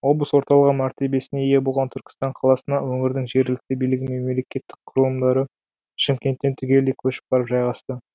облыс орталығы мәртебесіне ие болған түркістан қаласына өңірдің жергілікті билігі мен мемлекеттік құрылымдары шымкенттен түгелдей көшіп барып жайғасты